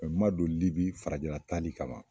Ɔ n ma don libi farajɛla taali kama